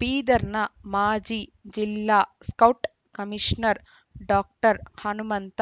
ಬೀದರ್‌ನ ಮಾಜಿ ಜಿಲ್ಲಾ scout commissioner doctor Hanumantha